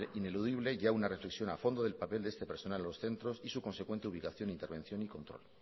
ineludible ya una reflexión a fondo del papel de este personal en los centros y su consecuente ubicación intervención y control